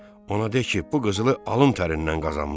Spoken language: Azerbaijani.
Ona de ki, bu qızılı alın tərindən qazanmısan.